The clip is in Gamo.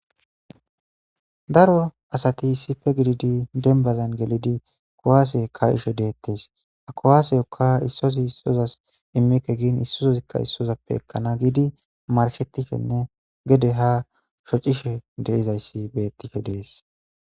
daro asati issife gididi denbazan gelidi kowaase ka7ishe deettees a kowaaseyokka issosi issozas immike giin issozozikka issozappe ekkana giidi marshetishenne gede ha shocishe deizayssi beettishe dees.